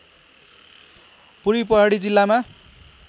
पूर्वी पहाडी जिल्लामा